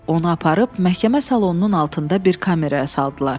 Onu aparıb məhkəmə salonunun altında bir kameraya saldılar.